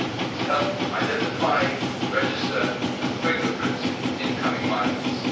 to help identify, register and fingerprint incoming migrants.